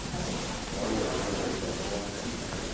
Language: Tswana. wa bona mokgwa o wa